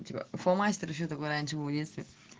ну типа фломастер ещё такой раньше был в детстве